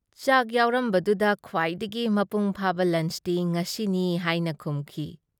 ꯆꯥꯛ ꯌꯥꯎꯔꯝꯕꯗꯨꯗ ꯈ꯭ꯋꯥꯏꯗꯒꯤ ꯃꯄꯨꯡ ꯐꯥꯕ ꯂꯟꯆꯇꯤ ꯉꯁꯤꯅꯤ ꯍꯥꯏꯅ ꯈꯨꯝꯈꯤ ꯫